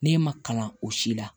Ne ma kalan o si la